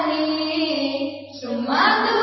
fullakusumitdrumdalshobinin